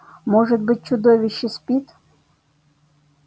может быть чудовище спит